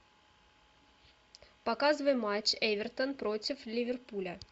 показывай матч эвертон против ливерпуля